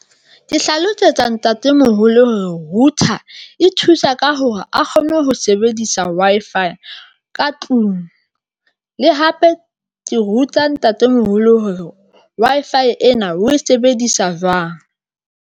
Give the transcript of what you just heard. Ke hlalosetsa ntatemoholo router e thusa ka hore a kgone ho sebedisa Wi-Fi ka tlung le hape ke ruta ntatemoholo hore Wi-Fi ena o e sebedisa jwang.